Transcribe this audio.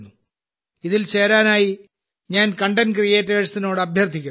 ഇതിൽ ചേരാനായി ഞാൻ കണ്ടന്റ് ക്രിയേറ്റേഴ്സിനോട് അഭ്യർത്ഥിക്കുന്നു